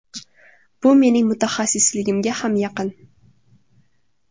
Bu mening mutaxassisligimga ham yaqin.